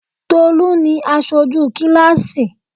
Tolú ni Asoju kíláásì